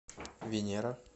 венера